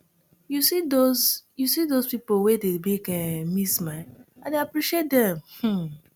you see dose you see dose pipo wey dey make um me smile i dey appreciate dem um